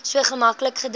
so maklik gedink